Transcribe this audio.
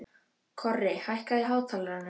Korri, hækkaðu í hátalaranum.